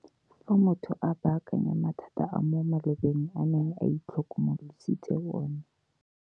Fa motho a baakanya mathata a mo malobeng a neng a itlhokomolositse ona.